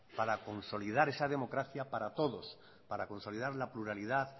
para consolidar esa democracia para todos para consolidar la pluralidad